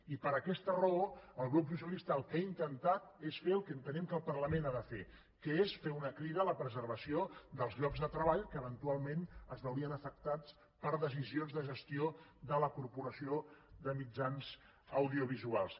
i per aquesta raó el grup socialista el que ha intentat és fer el que entenem que el parlament ha de fer que és fer una crida a la preservació dels llocs de treball que eventualment es veurien afectats per decisions de gestió de la corporació de mitjans audiovisuals